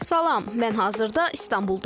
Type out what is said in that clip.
Salam, mən hazırda İstanbuldayam.